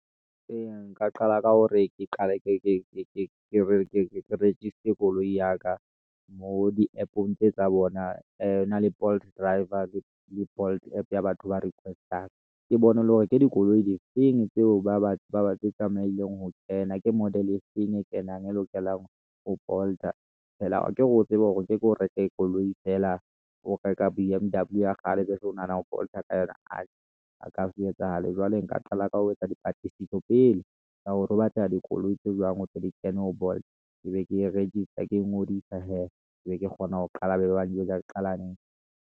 Ee, nka qala ka hore ke qale ke register koloi ya ka moo di-app-ong tse tsa bona. Hona le Bolt driver le Bolt app ya batho ba request-ang ke dikoloi di feng tseo ba batle ho kena, ke model e feng e kenang e lokelang ho Bolt-a fela, akere o tsebe hore nkeke o reke koloi feela, o reka B_M_W ya kgale jwale o nahana ho Bolt-a ka yona a a ka se etsahale. Jwale nka qala ka ho etsa dipatlisiso pele ka hore ho batlela dikoloi tse jwang hore di kene ho Bolt, ke be ke rekisa ke ngodisa hee, ke be ke kgona ho qala be ba njwetsa ke qala.